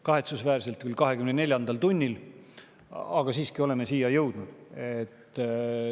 Kahetsusväärselt küll 24. tunnil, aga siiski me oleme siia jõudnud.